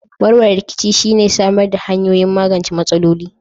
Warware rikici shi ne samar da hanyoyin magance matsaloli.